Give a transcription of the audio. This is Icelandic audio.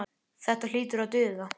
Þetta hlýtur að duga.